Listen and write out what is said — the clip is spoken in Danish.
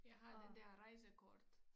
Jeg har den dér rejsekort